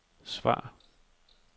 svar